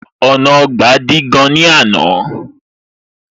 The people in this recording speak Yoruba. Ọ̀nà Ọgbà dí gan ní àná